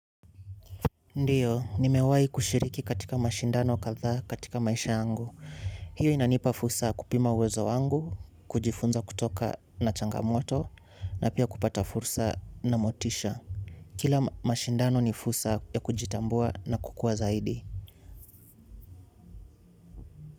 Ndiyo, nimewai kushiriki katika mashindano kathaa katika maisha yangu. Hiyo inanipa fursa ya kupima uwezo wangu, kujifunza kutoka na changamoto, na pia kupata fursa na motisha. Kila mashindano ni fursa ya kujitambua na kukua zaidi.